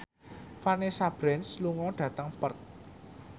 Vanessa Branch lunga dhateng Perth